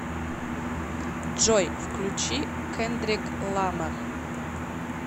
джой включи кендрик ламар